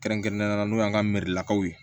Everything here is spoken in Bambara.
Kɛrɛnkɛrɛnnenya la n'o y'an ka merilakaw ye